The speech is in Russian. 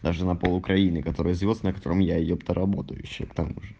на пол украины которая звёздная котором я епта работаю ещё к тому же